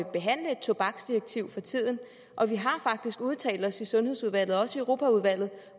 at behandle et tobaksdirektiv for tiden og vi har faktisk udtalt os i sundhedsudvalget og også i europaudvalget